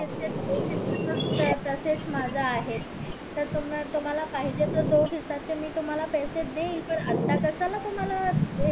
तसेच माझे आहेत तुम्हला पाहिजे त तुम्हला दोन हिस्से चे पैसे तुम्हला मी देईल पण आता कशाला तुम्हला